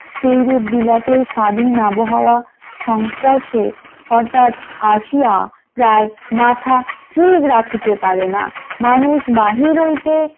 সেরূপ বিলাতে স্বাধীন আবহাওয়া সংস্পর্শে অর্থাৎ আসিয়া প্রায় মাথা ঠিক রাখিতে পারে না মানুষ বাহির হইতে ।